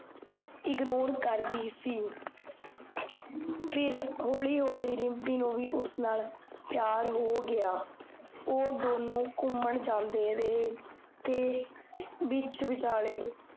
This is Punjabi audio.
ignore ਕਰਦੀ ਸੀ ਫੇਰ, ਹੋਲੀ ਹੋਲੀ, ਰਿਮ੍ਪੀ ਨੂੰ ਵੀ ਉਸ ਨਾਲ ਪਿਆਰ ਹੋ ਗਿਆ ਓਹ, ਦੋਨੋ ਘੁਮਾਣ ਜਾਂਦੇ ਰਹੇ ਤੇ ਵਿਚ ਵਿਚਾਲੇ